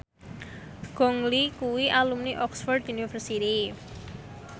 Gong Li kuwi alumni Oxford university